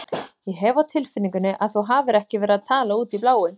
Ég hef á tilfinningunni að þú hafir ekki verið að tala út í bláinn.